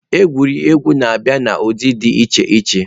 Egwuregwu na-abịa n'ụdị dị iche iche.